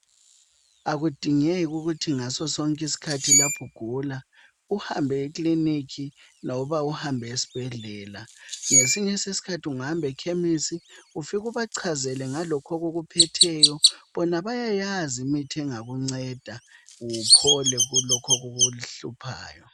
Akudingeki ukuthi ngaso sonke iskhathi lapho ugula uhambe e clinic loba uhambe esibhedlela , ngesinye iskhathi ungahamba ekhemisi ufike ubachazele ngalokho okukuphetheyo bona bayayazi imithi engakunceda uphole kulokho okukuhluphayo